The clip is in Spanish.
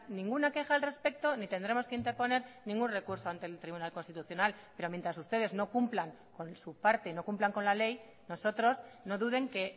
ninguna queja al respecto ni tendremos que interponer ningún recurso ante el tribunal constitucional pero mientras ustedes no cumplan con su parte no cumplan con la ley nosotros no duden que